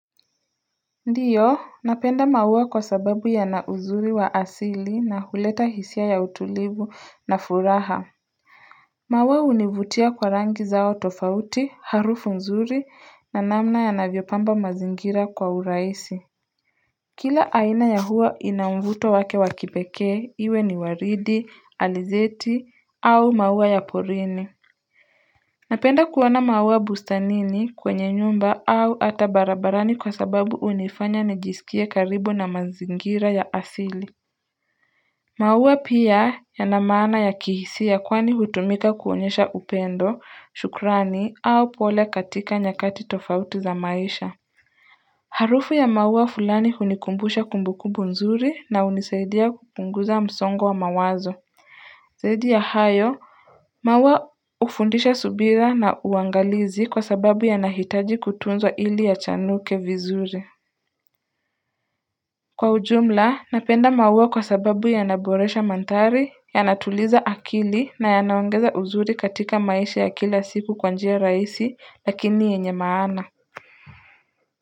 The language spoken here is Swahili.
Ndiyo napenda mauwa kwa sababu yana uzuri wa asili na huleta hisia ya utulivu na furaha Mauwa univutia kwa rangi zao tofauti harufu nzuri na namna yanavyopamba mazingira kwa uraisi Kila aina ya huwa ina mvuto wake wa kipekee iwe ni waridi alizeti au mauwa ya porini Napenda kuona maua bustanini kwenye nyumba au ata barabarani kwa sababu unifanya nijisikie karibu na mazingira ya asili. Mauua pia yana maana ya kihisia kwani hutumika kuonyesha upendo, shukrani au pole katika nyakati tofauti za maisha. Harufu ya maua fulani hunikumbusha kumbukumbu nzuri na unisaidia kupunguza msongo wa mawazo. Zaidi ya hayo, maua ufundisha subira na uangalizi kwa sababu yanahitaji kutunzwa ili yachanuke vizuri. Kwa ujumla, napenda maua kwa sababu yanaboresha mandhari, yanatuliza akili na yanaongeza uzuri katika maisha ya kila siku kwa njia raisi lakini yenye maana.